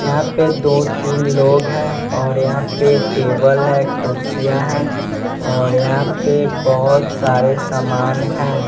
यहां पे दो तीन लोग हैं और यहां पे टेबल है कुर्सियां हैं और यहां पे बहोत सारे समान हैं।